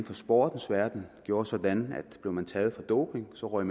for sportens verden gjorde sådan at blev nogen taget for doping så røg